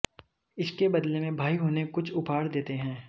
इसके बदले में भाई उन्हें कुछ उपहार देते हैं